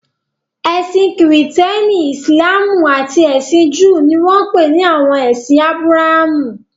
Ẹ̀sìn Kìrìtẹ́ẹ́nì, Ìsìlámù àti ẹ̀sìn Júù ni wọ́n ń pè ní àwọn ẹ̀sìn Ábúráhámù.